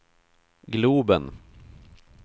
globen